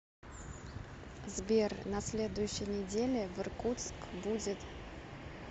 сбер на следующей неделе в иркутск будет